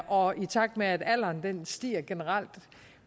og i takt med at alderen stiger generelt